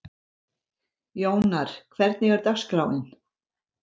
Jónar, hvernig er dagskráin?